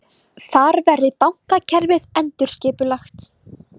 Þar verði bankakerfið endurskipulagt